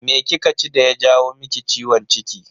Me kika ci daya jawo maki ciwon ciki?